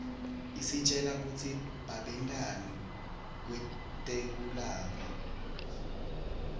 isitjela kutsi babentanjani kwetekulapha